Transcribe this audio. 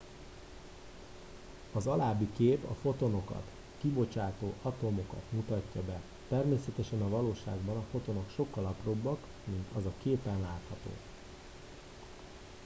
az alábbi kép a fotonokat kibocsátó atomokat mutatja be természetesen a valóságban a fotonok sokkal apróbbak mint az a képen látható